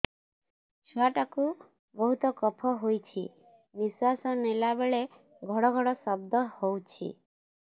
ଛୁଆ ଟା କୁ ବହୁତ କଫ ହୋଇଛି ନିଶ୍ୱାସ ନେଲା ବେଳେ ଘଡ ଘଡ ଶବ୍ଦ ହଉଛି